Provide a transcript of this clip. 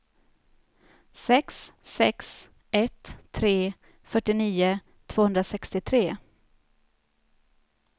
sex sex ett tre fyrtionio tvåhundrasextiotre